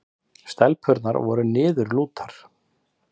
Stelpurnar voru niðurlútar.